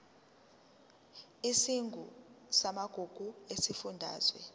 isigungu samagugu sesifundazwe